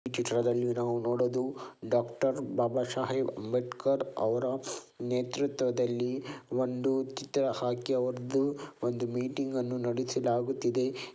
ಈ ಚಿತ್ರದಲ್ಲಿ ನಾವು ನೋಡೋದು ಡಾಕ್ಟರ್ ಬಾಬ ಸಾಹೇಬ್ ಅಂಬೇಡ್ಕರ್ ಅವರ ನೇತೃತ್ವದಲ್ಲಿ ಒಂದು ಚಿತ್ರ ಹಾಕಿ ಅವರ್ದು ಒಂದು ಮೀಟಿಂಗ್ ಅನ್ನು ನಡೆಸಲಾಗುತ್ತಿದೆ.